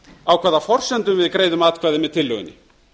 á hvaða forsendum við greiðum atkvæði með tillögunni